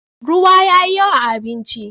ruwa yayi yawa a abinci